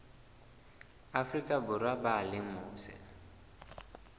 afrika borwa ba leng mose